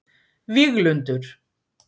Víglundur